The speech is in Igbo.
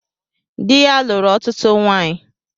Dị ya lụrụ ọtụtụ nwanyị